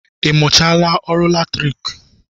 Ị mụchaala ọrụ latriki?